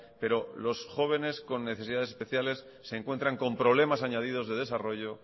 pero los jóvenes con necesidades especiales se encuentran con problemas añadidos de desarrollo